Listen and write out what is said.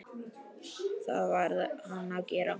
Það varð hann að gera.